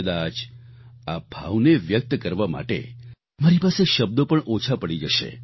કદાચ આ ભાવને વ્યક્ત કરવા માટે મારી પાસે શબ્દો પણ ઓછા પડી જશે